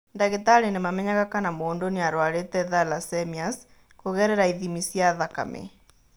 Ndagĩtarĩ nĩ mamenyaga kana mũndũ nĩ arũarĩte thalassemias kũgerera ithimi cia thakame.